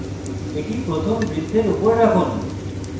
এটি প্রথম বৃত্তের উপরে রাখুন